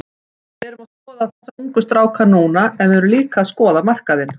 Við erum að skoða þessa ungu stráka núna en við erum líka að skoða markaðinn.